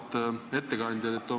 Auväärt ettekandja!